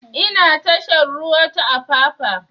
Ina tashar ruwa ta apapa